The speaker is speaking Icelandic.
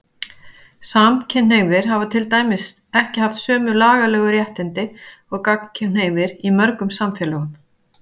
Samkynhneigðir hafa til dæmis ekki haft sömu lagalegu réttindi og gagnkynhneigðir í mörgum samfélögum.